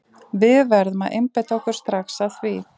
Við verðum að einbeita okkur strax að því.